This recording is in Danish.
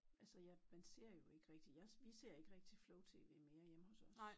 Altså jeg man ser jo ikke rigtig jeg vi ser ikke rigtig flow-tv mere hjemme hos os